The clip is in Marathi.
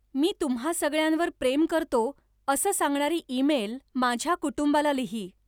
मी तुम्हां सगळ्यांवर प्रेम करतो असं सांगणारी ईमेल माझ्या कुटुंबाला लिही.